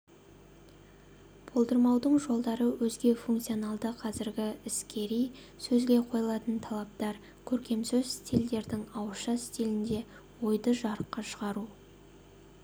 болдырмаудың жолдары өзге функционалды қазіргі іскери сөзге қойылатын талаптар көркемсөз стильдердің ауызша стилінде ойды жарыққа шығару